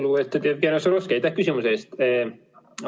Lugupeetud Jevgeni Ossinovski, aitäh küsimuse eest!